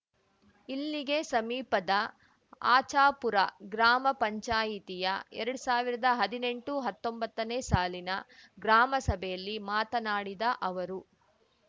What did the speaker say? ಇಲ್ಲಿಗೆ ಸಮೀಪದ ಆಚಾಪುರ ಗ್ರಾಮ ಪಂಚಾಯಿತಿಯ ಎರಡು ಸಾವಿರ್ದಾ ಹದಿನೆಂಟು ಹತ್ತೊಂಬತ್ತನೇ ಸಾಲಿನ ಗ್ರಾಮ ಸಭೆಯಲ್ಲಿ ಮಾತನಾಡಿದ ಅವರು